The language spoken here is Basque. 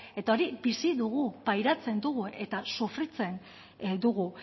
eta hori bizi dugu pairatzen dugu eta sufritzen dugu